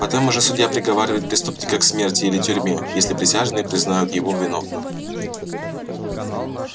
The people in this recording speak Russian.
потом уже судья приговаривает преступника к смерти или тюрьме если присяжные признают его виновным